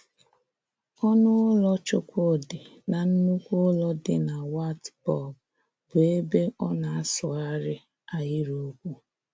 Ọ́nụ Ụ́lọ̀ Chúkwúdị̀ nà Nnùkwú Ụ́lọ̀ dị na Wartburg, bụ́ ébé ọ nọ̀ sụgharịa ahịrị okwu